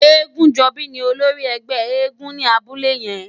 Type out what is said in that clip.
Egunjobi ni ólórì ègbè éègúùn ni àbúlé yèn